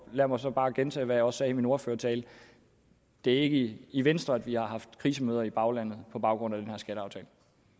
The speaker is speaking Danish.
lad mig så bare gentage hvad jeg også sagde i min ordførertale det er ikke i i venstre at vi har haft krisemøder i baglandet på baggrund af den her skatteaftale